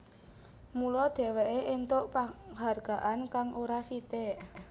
Mula dheweké entuk panghargaan kang ora sithik